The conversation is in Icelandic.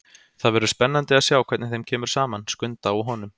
Það verður spennandi að sjá hvernig þeim kemur saman, Skunda og honum.